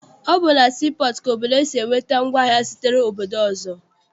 Ọ bụ na sii pọọtụ ka obodo si enweta ngwaahịa sitere obodo ọzọ.